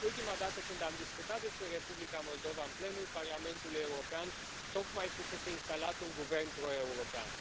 Ultima dată când am discutat despre Republica Moldova în plenul Parlamentului European tocmai fusese instalat un guvern pro european.